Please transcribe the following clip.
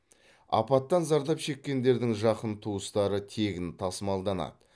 апаттан зардап шеккендердің жақын туыстары тегін тасымалданады